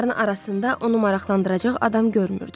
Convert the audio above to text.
Qonaqların arasında onu maraqlandıracaq adam görmürdü.